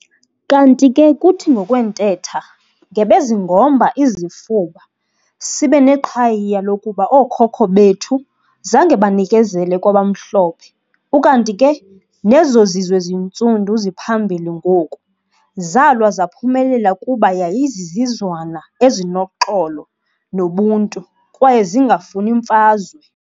Kanti ke kuthi ngokwentetha, "ngebezingomba izifuba sibe neqhayiya lokuba ooKhokho bethu zange banikezele kwabamhlophe ukanti ke nezozizwe zintsundu ziphambili ngoku zalwa zaphumelela kuba yayizizizwana ezinoxolo nobuntu kwaye zingafuni mfazwe".